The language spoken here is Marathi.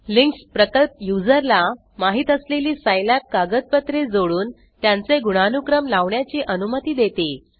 लिंक्स प्रकल्प यूज़रला माहीत असलेली सिलाब कागदपत्रे जोडुन त्यांचे गुणानूक्रम लावण्याची अनुमती देते